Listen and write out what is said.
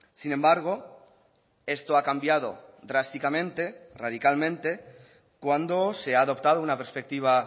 sin embargo esto ha cambiado drásticamente radicalmente cuando se ha adoptado una perspectiva